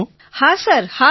વિનોલે હા સર હા સર